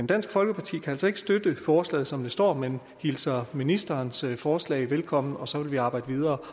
dansk folkeparti kan altså ikke støtte forslaget som det står men hilser ministerens forslag velkommen og så vil vi arbejdere videre